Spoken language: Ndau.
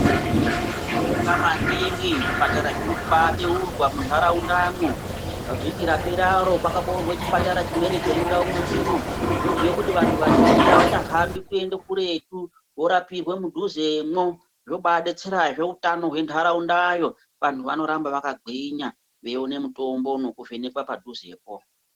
Tinobonga maningi zvipatara zvirikuba beurwa munharaunda mwo pa vhiki rapera ro pakaboorwe chipatara chimweni chemundau mwedu mwo zvobhuye kuti vantu vazhinji avachahambi kuende kuretu vorapirwe mudhuze mwo, zvobabetserazve utano hwendaraunda yo vandu vanoramba vakagwinya veione mutombo nekuvhenekwa padhuze po.